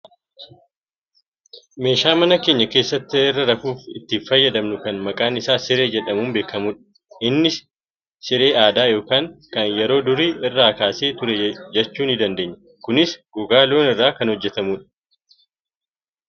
Meeshaa mana keenya keessatti irra rafuuf itti fayyadamnu kan maqaan isaa siree jedhamuun beekamudha. Innis siree aadaa yookaan kan yeroo durii irraa kaasee ture jechuu ni dandeenya. Kunis gogaa looniirraa kan hojjatamudha.